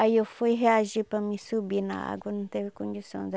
Aí eu fui reagir para mim subir na água, não teve condições.